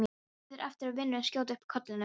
Bíður eftir að vinurinn skjóti upp kollinum.